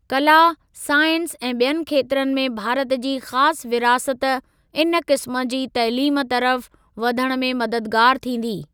कला, साइंस ऐं ॿियनि खेत्रनि में भारत जी ख़ासि विरासत इन क़िस्म जी तइलीम तरफ़ वधण में मददगार थींदी।